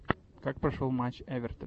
как прошел матч эвертон